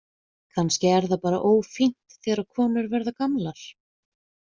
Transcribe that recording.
Kannski er það bara ófínt þegar konur verða gamlar.